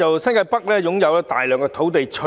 新界北有大量土地。